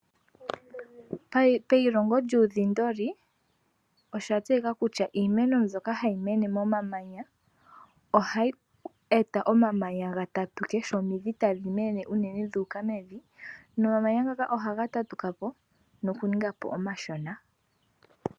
Payilongo lyuudhindi osha tseyika kutya iimeno mbyoka hayi mene momamanya oha yi eta omamanya ga tatuke sho omidhi tadhi mene unene dhi uka mevi nomamanya ngaka ohaga tatuka po noku ninga po omashona